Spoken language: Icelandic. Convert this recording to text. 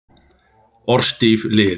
Orðstír lifir.